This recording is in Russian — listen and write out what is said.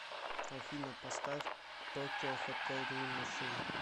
афина поставь токио хотел дрим машин